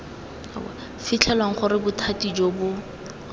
fitlhelwang gore bothati jo bo